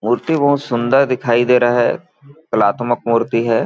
मूर्ति बहोत सुन्दर दिखाई दे रहा है कलात्मक मूर्ति हैं।